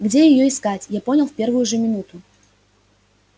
где её искать я понял в первую же минуту